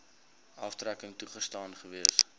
aftrekking toegestaan gewees